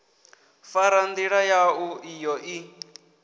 fara ndila yau iyo i